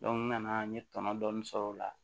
n nana n ye tɔnɔ dɔɔnin sɔrɔ o la